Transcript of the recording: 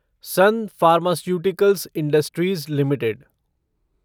sun pharmaceuticals industries limited